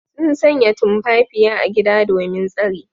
Sun sanya tumfafiya a gida domin tsari.